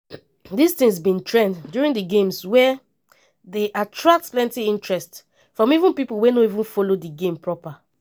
dis tins bin trend during di games wia dey attract plenti interest from even pipo wey no follow di games proper.